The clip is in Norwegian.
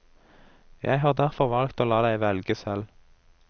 Jeg har derfor valgt å la deg velge selv.